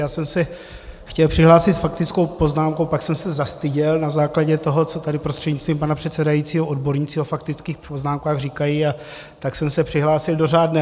Já jsem se chtěl přihlásit s faktickou poznámkou, pak jsem se zastyděl na základě toho, co tady prostřednictvím pana předsedajícího odborníci o faktických poznámkách říkají, a tak jsem se přihlásil do řádné.